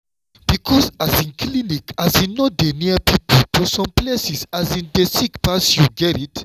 because um clinic um no dey near people for some places um dey sick pass you gerrit?